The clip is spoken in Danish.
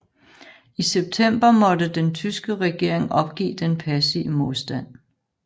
I september måtte den tyske regering opgive den passive modstand